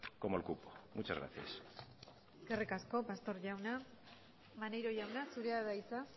como el cupo muchas gracias eskerrik asko pastor jauna maneiro jauna zurea da hitza